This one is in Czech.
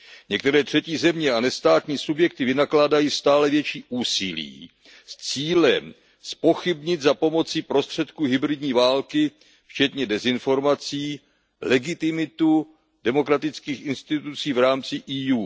Některé třetí země a nestátní subjekty vynakládají stále větší úsilí s cílem zpochybnit za pomoci prostředků hybridní války, včetně dezinformací, legitimitu demokratických institucí v rámci Evropské unie.